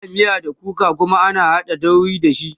ana miya da kuka Kuma ana haɗa dauri da shi